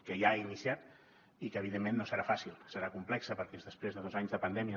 que ja ha iniciat i que evidentment no serà fàcil serà complexa perquè després de dos anys de pandèmia